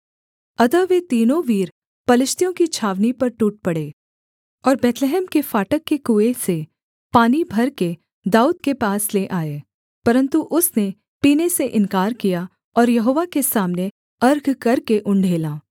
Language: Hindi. अतः वे तीनों वीर पलिश्तियों की छावनी पर टूट पड़े और बैतलहम के फाटक के कुएँ से पानी भरकर दाऊद के पास ले आए परन्तु उसने पीने से इन्कार किया और यहोवा के सामने अर्घ करके उण्डेला